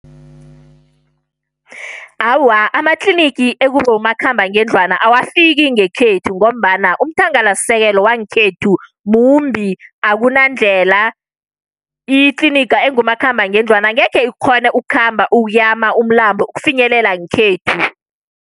Awa, amatlinigi ekubomakhambangendlwana awafiki ngekhethu, ngombana umthangalasisekelo wangekhethu mumbi. Akunandlela, itliniga engumakhambangendlwana angekhe ikghone ukukhamba, ukuyama umlambo ukufinyelela ngekhethu.